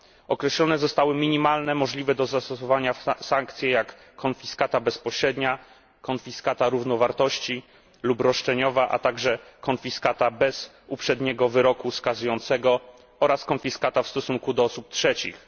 Określone zostały minimalne możliwe do zastosowania sankcje, jak konfiskata bezpośrednia, konfiskata równowartości lub roszczeniowa, a także konfiskata bez uprzedniego wyroku skazującego oraz konfiskata w stosunku do osób trzecich.